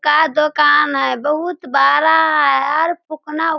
का दोकान है बहुत बड़ा है और फुकना --